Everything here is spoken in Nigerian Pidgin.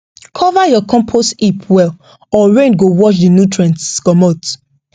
cover your compost heap well or rain go wash the nutrients commot